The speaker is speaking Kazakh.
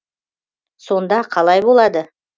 сонда қалай болады